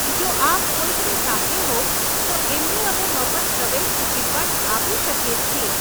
જો આપ કોઈકની સાથે હોવ તો એમને અમે મફત પ્રવેશ ટિકિટ પણ આપી શકીએ છીએ.